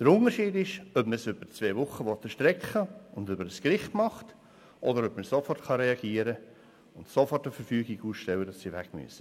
Der Unterschied ist, dass man es über zwei Wochen erstrecken will und über ein Gericht geht oder dass man sofort reagieren und sofort eine Verfügung ausstellen kann, sodass die Fahrenden weg müssen.